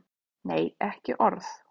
Nei, ekki orð.